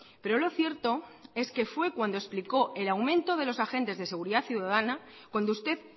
pero lo cierto es que fue cuando explicó el aumento de los agentes de seguridad ciudadana cuando usted